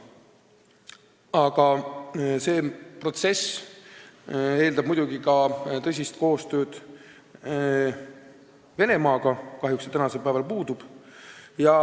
Aga see protsess eeldab muidugi tõsist koostööd Venemaaga, mis kahjuks tänasel päeval puudub.